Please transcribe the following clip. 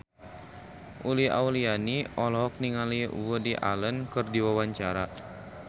Uli Auliani olohok ningali Woody Allen keur diwawancara